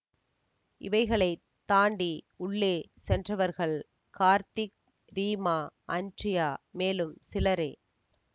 இவைகளை தாண்டி உள்ளே சென்றவர்கள் கார்த்திக் ரீமா அன்ட்ரியா மேலும் சிலரே